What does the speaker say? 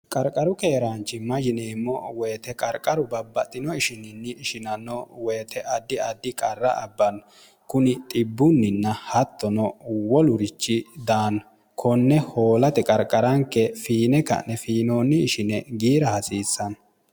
qarqaru keeraanchimma yineemmo woyite qarqaru babbaxxino ishininni ishinanno woyite addi addi qarra abbanno kuni xibbunninna hattono wolurichi daani konne hoolate qarqaranke fiine ka'ne fiinoonni ishine giira hasiissanno